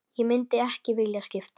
Ég myndi ekki vilja skipta.